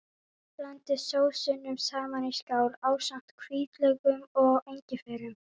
Blandið sósunum saman í skál ásamt hvítlauknum og engifernum.